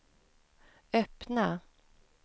öppna